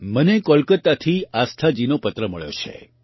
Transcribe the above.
મને કોલકાતાથી આસ્થાજીનો પત્ર મળ્યો છે